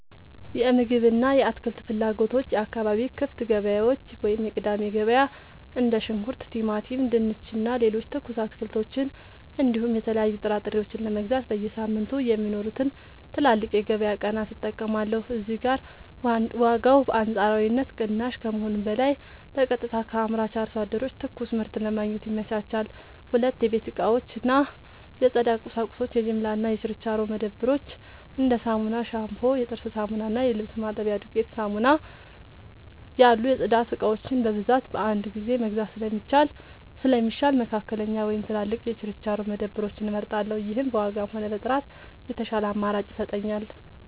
የምግብ እና የአትክልት ፍላጎቶች የአካባቢ ክፍት ገበያዎች (የቅዳሜ ገበያ): እንደ ሽንኩርት፣ ቲማቲም፣ ድንች እና ሌሎች ትኩስ አትክልቶችን እንዲሁም የተለያዩ ጥራጥሬዎችን ለመግዛት በየሳምንቱ የሚኖሩትን ትላልቅ የገበያ ቀናት እጠቀማለሁ። እዚህ ጋር ዋጋው በአንጻራዊነት ቅናሽ ከመሆኑም በላይ በቀጥታ ከአምራች አርሶ አደሮች ትኩስ ምርት ለማግኘት ይመቻቻል። 2. የቤት እቃዎች እና የጽዳት ቁሳቁሶች የጅምላ እና የችርቻሮ መደብሮች: እንደ ሳሙና፣ ሻምፑ፣ የጥርስ ሳሙና እና የልብስ ማጠቢያ ዱቄት (ዱቄት ሳሙና) ያሉ የጽዳት እቃዎችን በብዛት በአንድ ጊዜ መግዛት ስለሚሻል፣ መካከለኛ ወይም ትላልቅ የችርቻሮ መደብሮችን እመርጣለሁ። ይህም በዋጋም ሆነ በጥራት የተሻለ አማራጭ ይሰጠኛል።